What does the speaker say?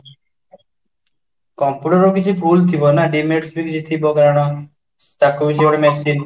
computer କିଛି ଭୁଲ ଥିବନା demerit ଥିବା କାରଣ ତାକୁ ସିଏବି ଗୋଟେ machine